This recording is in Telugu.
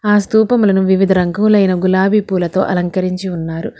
ఆ స్థూపములను వివిధ రంగూలైన గులాబీ పూలతో అలంకరించి ఉన్నారు.